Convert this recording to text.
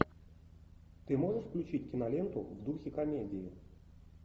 ты можешь включить киноленту в духе комедии